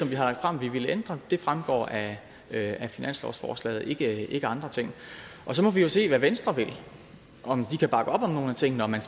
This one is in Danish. vi har lagt frem vi vil ændre fremgår af af finanslovsforslaget ikke andre ting og så må vi jo se hvad venstre vil om de kan bakke op om nogle af tingene om man